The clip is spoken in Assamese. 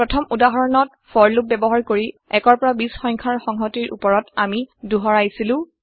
প্ৰথম উদাহৰণত ফৰ লুপ ব্যৱহাৰ কৰি ১ৰ পৰা ২০ সংখ্যাৰ সংহতিৰ উপৰত আমি দোহাৰাইছিলো